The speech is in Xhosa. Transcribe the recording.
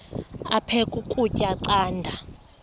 aphek ukutya canda